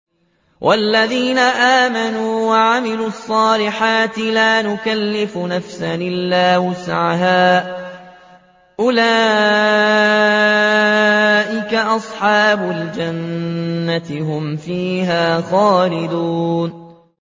وَالَّذِينَ آمَنُوا وَعَمِلُوا الصَّالِحَاتِ لَا نُكَلِّفُ نَفْسًا إِلَّا وُسْعَهَا أُولَٰئِكَ أَصْحَابُ الْجَنَّةِ ۖ هُمْ فِيهَا خَالِدُونَ